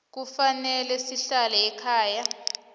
kufanele sihlale ekhaya